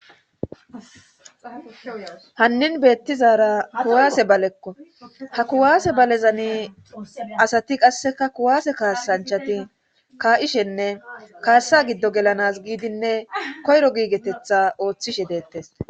hannin beettizara kuwaase balekko ha kuwaase balezani asati qasseka kuwaase kaasanchati ka7ishenne kaassa giddo gelanas giidinne koyro giigetetha ooththishe deettes